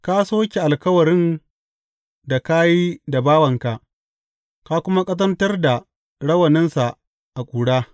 Ka soke alkawarin da ka yi da bawanka ka kuma ƙazantar da rawaninsa a ƙura.